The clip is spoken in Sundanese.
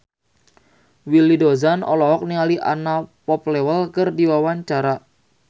Willy Dozan olohok ningali Anna Popplewell keur diwawancara